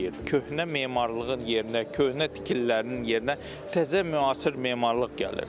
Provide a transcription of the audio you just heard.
Köhnə memarlığın yerinə, köhnə tikililərinin yerinə təzə müasir memarlıq gəlir.